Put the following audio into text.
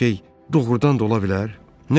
Belə şey doğrudan da ola bilər?